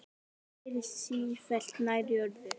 Færist sífellt nær jörðu.